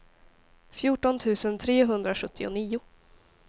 fjorton tusen trehundrasjuttionio